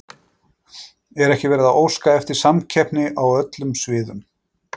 Er ekki verið að óska eftir samkeppni á öllum sviðum?